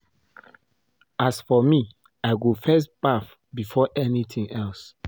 As for me I go first baff before anything else